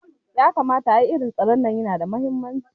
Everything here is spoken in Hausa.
Yakamata, ai irin taron nan yana da mahimmanci